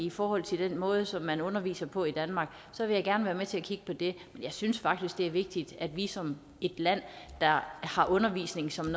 i forhold til den måde som man underviser på i danmark så vil jeg gerne være med til at kigge på det jeg synes faktisk det er vigtigt at vi som et land der har undervisning som en